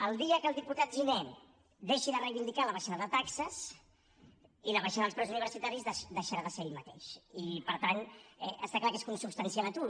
el dia que el diputat giner deixi de reivindicar la baixada de taxes i la baixada dels preus universitaris deixarà de ser ell mateix i per tant està clar que és consubstancial a tu